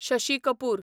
Shashi Kapoor